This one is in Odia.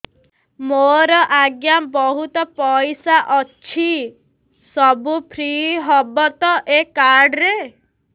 ମୋର ଆଜ୍ଞା ବହୁତ ପଇସା ଅଛି ସବୁ ଫ୍ରି ହବ ତ ଏ କାର୍ଡ ରେ